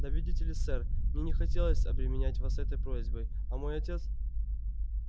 да видите ли сэр мне не хотелось обременять вас этой просьбой а мой отец